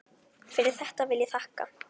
Fyrir þetta vil ég þakka.